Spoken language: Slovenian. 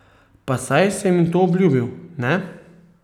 Pa saj sem ji to obljubil, ne?